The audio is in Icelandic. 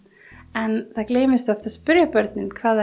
en það gleymist oft að spyrja börn hvað